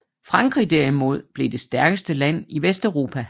Frankrig derimod blev det stærkeste land i Vesteuropa